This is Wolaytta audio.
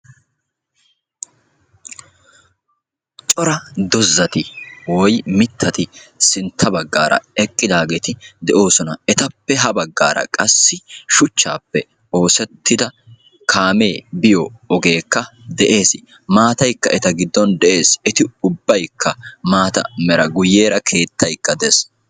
Coraa doozzati woyi mittati sintta baggara eqqidageti deosona. Etappe ha baggara qassi shuuchchape oosetida kaame biyo ogeeka de'ees. Maataayka eta gidon de'ees. Etti ubbaykka maataa meera. Guuyera keettayka de'ees.